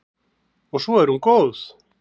Og svo er hún góð.